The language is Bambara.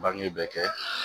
Bange bɛɛ kɛ